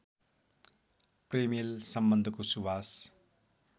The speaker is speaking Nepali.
प्रेमिल सम्बन्धको सुवास